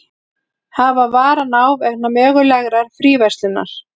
Hafa varann á vegna mögulegrar fríverslunar